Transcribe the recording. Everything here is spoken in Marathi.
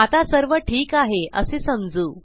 आता सर्व ठीक आहे असे समजू